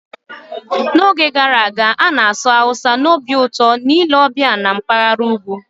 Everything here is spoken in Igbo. N'oge gara aga, a na-asụ Hausa n'obi ụtọ na ile ọbịa na mpaghara ugwu.